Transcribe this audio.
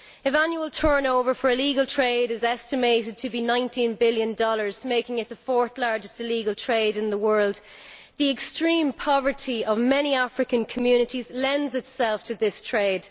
If annual turnover for the illegal trade is estimated to be USD 19 billion making it the fourth largest illegal trade in the world the extreme poverty of many African communities lends itself to this trade.